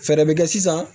Fɛɛrɛ bɛ kɛ sisan